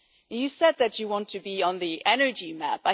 You said that you want to be on the energy map.